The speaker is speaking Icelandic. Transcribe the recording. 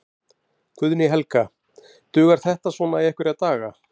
Guðný Helga: Dugar þetta svona í einhverja daga?